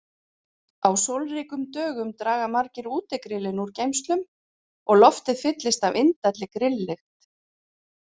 Á sólríkum dögum draga margir útigrillin úr geymslum og loftið fyllist af indælli grilllykt.